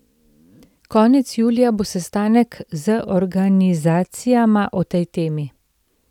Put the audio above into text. Konec julija bo sestanek z organizacijama o tej temi.